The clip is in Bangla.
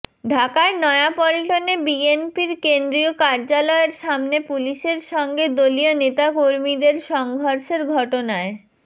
ঢাকার নয়াপল্টনে বিএনপির কেন্দ্রীয় কার্যালয়ের সামনে পুলিশের সঙ্গে দলীয় নেতাকর্মীদের সংঘর্ষের ঘটনায়